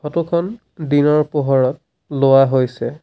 Photo খন দিনৰ পোহৰত লোৱা হৈছে।